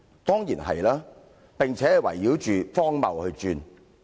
當然是，並且是圍繞着荒謬而轉。